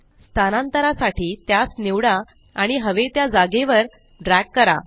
स्थानांतरा साठी त्यास निवडा आणि हवे त्या जागेवर ड्रॅग करा